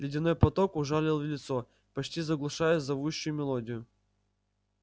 ледяной поток ужалил в лицо почти заглушая зовущую мелодию